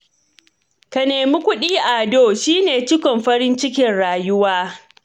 Ka nemi kuɗi Ado, shi ne cikon farin cikin rayuwa